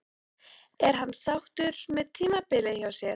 Er hann sáttur með tímabilið hjá sér?